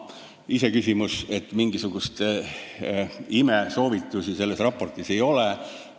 Iseküsimus on, et mingisuguseid imesoovitusi selles raportis ei ole.